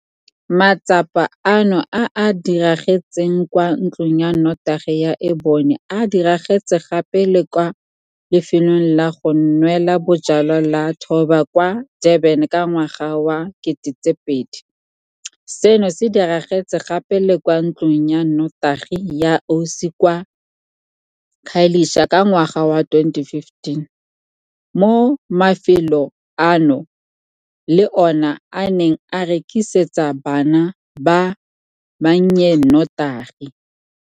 Matsapa ano a a diragetseng kwa ntlong ya notagi ya Enyobeni a diragetse gape le kwa lefelong la go nwela bojalwa la Throb kwa Durban ka ngwaga wa 2000, seno se diragetse gape le kwa ntlong ya notagi ya Osi kwa Khayelitsha ka ngwaga wa 2015, mo mafelo ano le ona a neng a rekisetsa bana ba bannye notagi.